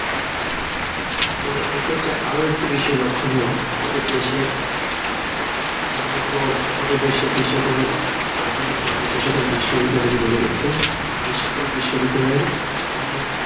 তাবে এক্ষেত্রে আরও একটু বিষয় লক্ষণীয়, আমাদের দেশের উন্নত আমাদের দেশের যে সকল আধুনিক মানের যে বিশ্ববিদ্যালয়গুলো রয়েছে, এসকল বিশ্ববিদ্যালয়ের অনেক